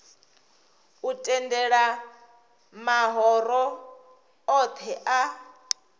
u tendela mahoro othe a